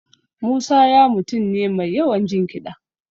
Musa ya mutum ne mai yawan jin kiɗa